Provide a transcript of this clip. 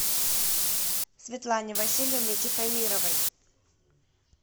светлане васильевне тихомировой